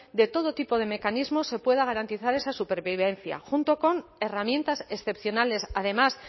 de todo tipo de mecanismos se pueda garantizar esa supervivencia junto con herramientas excepcionales además